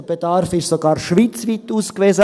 Der Bedarf ist sogar schweizweit ausgewiesen;